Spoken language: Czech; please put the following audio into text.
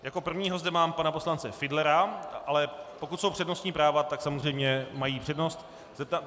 Jako prvního zde mám pana poslance Fiedlera, ale pokud jsou přednostní práva, tak samozřejmě mají přednost.